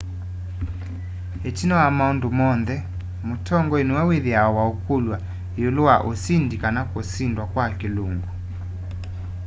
itina wa maundu monthe mutongoi niwe withiawa waukulw'a iulu wa usindi kana kusindwa kwa kilungu